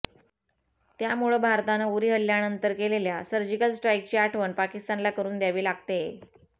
त्यामुळेच भारतानं उरी हल्ल्यानंतर केलेल्या सर्जिकल स्ट्राईकची आठवण पाकिस्तानला करु द्यावी लागतेय